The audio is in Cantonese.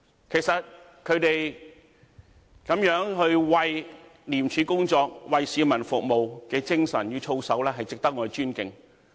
其實，他們這樣為廉署工作、為市民服務的精神與操守，值得我們尊敬。